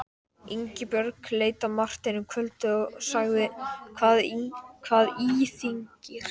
Ingibjörg leit á Martein um kvöldið og sagði: Hvað íþyngir þér?